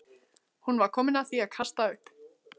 Hún var að því komin að kasta upp.